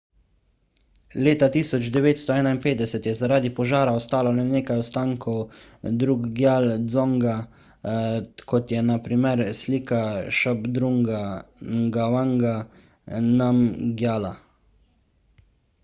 leta 1951 je zaradi požara ostalo le nekaj ostankov drukgyal dzonga kot je na primer slika šabdrunga ngavanga namgjala